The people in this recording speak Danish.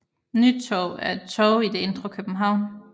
Nytorv er et torv i det indre København